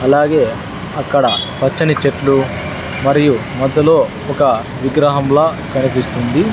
అలాగే అక్కడ పచ్చని చెట్లు మరియు మధ్యలో ఒక విగ్రహంలా కనిపిస్తుంది.